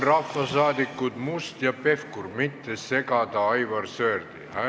Rahvasaadikud Must ja Pevkur, palun mitte segada Aivar Sõerdi!